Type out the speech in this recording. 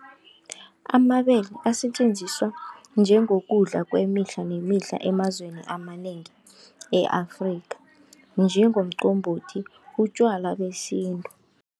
Amabele asetjenziswa njengokudla kwemihla nemihle emazweni amanengi e-Afrika, njengomqombothi, utjwala besintu.